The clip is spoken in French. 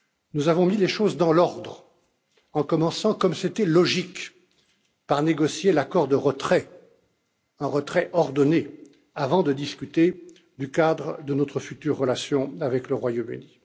Nous avons mis les choses dans l'ordre, en commençant comme c'était logique par négocier l'accord de retrait, un retrait ordonné, avant de discuter du cadre de notre future relation avec le Royaume Uni.